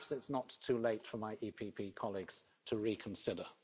Perhaps it's not too late for my PPE colleagues to reconsider.